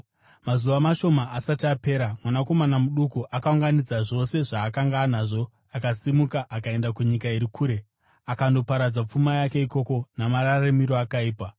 “Mazuva mashoma asati apera, mwanakomana muduku akaunganidza zvose zvaakanga anazvo, akasimuka akaenda kunyika iri kure akandoparadza pfuma yake ikoko namararamiro akaipa.